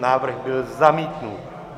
Návrh byl zamítnut.